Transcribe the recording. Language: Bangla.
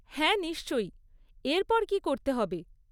হ্যাঁ নিশ্চয়ই। এর পর কী করতে হবে?